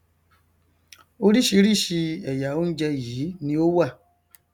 orísìírísìí ẹyà oúnjẹ yìí ni ó wà